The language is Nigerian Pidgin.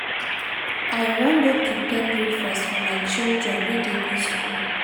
i wan go prepare breakfast for my children wey dey go skool.